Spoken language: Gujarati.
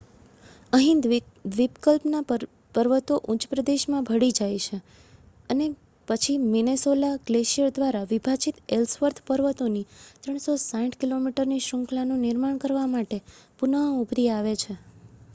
અહીં દ્વીપકલ્પના પર્વતો ઉચ્ચપ્રદેશમાં ભળી જાય છે અને પછી મિનેસોલા ગ્લેશિયર દ્વારા વિભાજિત એલ્સવર્થ પર્વતોની 360 કિલોમીટરની શૃંખલાનું નિર્માણ કરવા માટે પુનઃ ઊભરી આવે છે